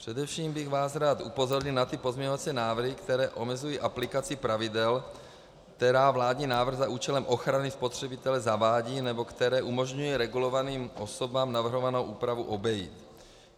Především bych vás rád upozornil na ty pozměňovací návrhy, které omezují aplikaci pravidel, která vládní návrh za účelem ochrany spotřebitele zavádí, nebo které umožňují regulovaným osobám navrhovanou úpravu obejít.